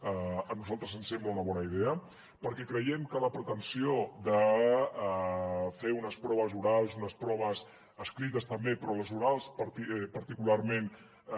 a nosaltres ens sembla una bona idea perquè creiem que la pretensió de fer unes proves orals unes proves escrites també però les orals particularment